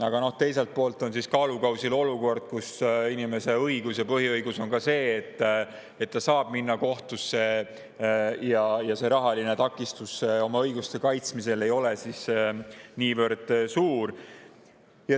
Aga teiselt poolt on kaalukausil olukord, et inimesele, kelle põhiõigus on ka see, et ta saab kohtusse, ei oleks rahaline takistus oma õiguste kaitsmisel niivõrd suur.